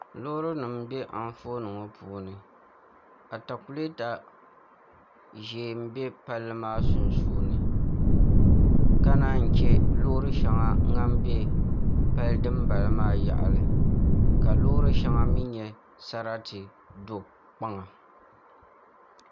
Loori nim n bɛ Anfooni ŋɔ puuni atakulɛta ʒiɛ n bɛ palli maa sunsuuni ka naan yi chɛ loori shɛŋa din bɛ pali dinbala maa yaɣali ka loori shɛŋa mii nyɛ sarati do kpaŋa